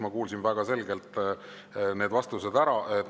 Ma kuulsin väga selgelt need vastused ära.